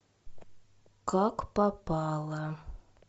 как попало